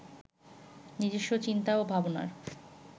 নিজস্ব চিন্তা ও ভাবনার